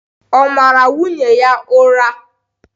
Ọ̀ mara nwunye ya ụra?